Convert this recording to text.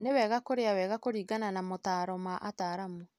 Nĩwega kũrĩa wega kũringanana na motaro ma ataramu.